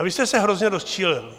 A vy jste se hrozně rozčilil.